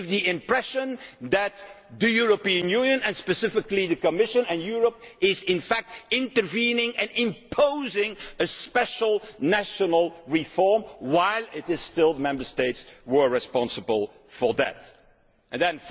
it gives the impression that the European Union, and specifically the Commission, is in fact intervening and imposing a special national reform while it is still Member States who are responsible for that.